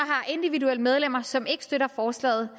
individuelle medlemmer som ikke støtter forslaget